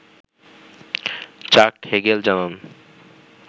চাক হেগেল জানান